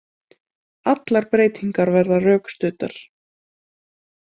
Allar breytingar verða rökstuddar